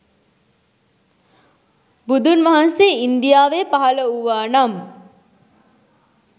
බුදුන්වහන්සේ ඉන්දියාවේ පහල වූවානම්